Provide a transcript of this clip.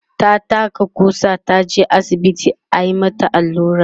ta taka ƙusa, taje asibiti ayi mata Alura